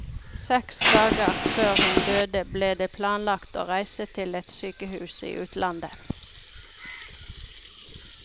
Seks dager før hun døde ble det planlagt å reise til et sykehus i utlandet.